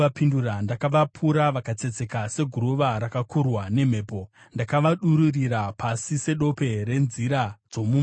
Ndakavapura vakatsetseka seguruva ratakurwa nemhepo; ndakavadururira pasi sedope renzira dzomumusha.